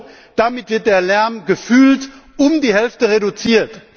Mrd. Euro, damit wird der Lärm gefühlt um die Hälfte reduziert.